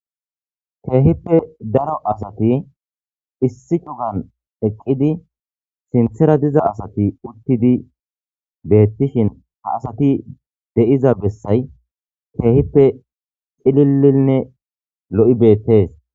Kehipe daro asati issi c'uga eqidi sintera diza asati utidi betishen ha asati de'iza besay kehipe c'lilane lo'i betes.